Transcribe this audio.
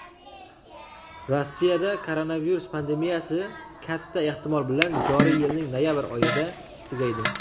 Rossiyada koronavirus pandemiyasi katta ehtimol bilan joriy yilning noyabr oyida tugaydi.